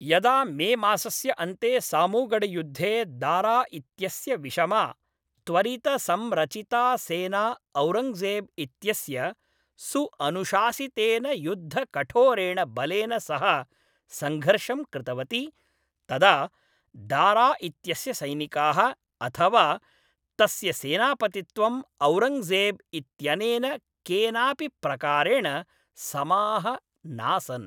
यदा मेमासस्य अन्ते सामूगढयुद्धे दारा इत्यस्य विषमा, त्वरितसंरचिता सेना औरङ्गजेब् इत्यस्य सुअनुशासितेन युद्धकठोरेण बलेन सह संघर्षं कृतवती, तदा दारा इत्यस्य सैनिकाः अथवा तस्य सेनापतित्वं औरङ्गजेब् इत्यनेन केनापि प्रकारेण समाः नासन्।